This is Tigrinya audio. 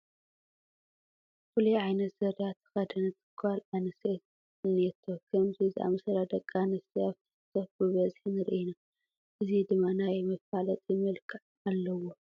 ፍሉይ ዓይነት ዙርያ ተኸደነት ጓል ኣነስተይቲ እኔቶ፡፡ ከምዚ ዝኣምሰላ ደቂ ኣንስትዮ ኣብ ቲክ ቶክ ብብዝሒ ንርኢ ኢና፡፡ እዚ ድማ ናይ መፋለጢ መልክዕ ዘለዎ፡፡